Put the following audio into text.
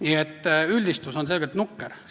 Nii et üldistus on selgelt nukker.